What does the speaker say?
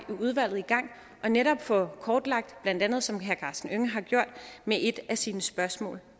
udvalget i gang og netop få det kortlagt blandt andet som herre karsten hønge har gjort med et af sine spørgsmål